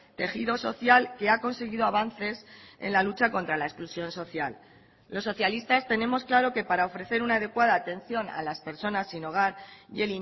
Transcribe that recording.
tejido social que ha conseguido avances en la lucha contra la exclusión social los socialistas tenemos claro que para ofrecer una adecuada atención a las personas sin hogar y